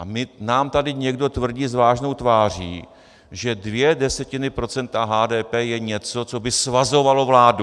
A nám tady někdo tvrdí s vážnou tváří, že dvě desetiny procenta HDP je něco, co by svazovalo vládu.